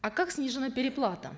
а как снижена переплата